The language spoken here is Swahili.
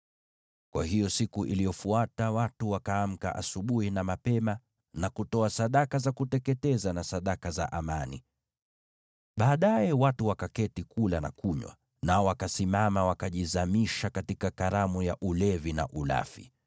Kwa hiyo siku iliyofuata watu wakaamka asubuhi na mapema na kutoa sadaka za kuteketeza na sadaka za amani. Baadaye watu wakaketi kula na kunywa, nao wakasimama, wakajizamisha katika sherehe.